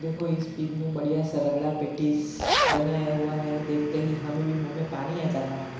देखो इस पीक में बढ़िया सा रगड़ा पेटिस बनाया हुआ है देखते ही हमें भी मुँह में पानी आ जाता है